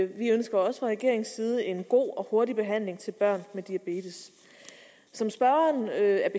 vi ønsker også fra regeringens side en god og hurtig behandling til børn med diabetes som spørgeren er